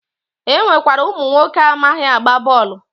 E nwekwara ụmụnwoke amaghị agba bọọlụ